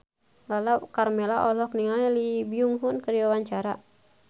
Lala Karmela olohok ningali Lee Byung Hun keur diwawancara